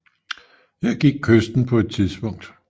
Her gik kysten på det tidspunkt